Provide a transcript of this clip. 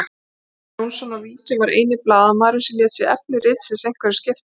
Ólafur Jónsson á Vísi var eini blaðamaðurinn sem lét sig efni ritsins einhverju skipta.